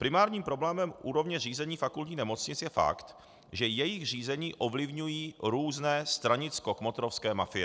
Primárním problémem úrovně řízení fakultních nemocnic je fakt, že jejich řízení ovlivňují různé stranicko-kmotrovské mafie.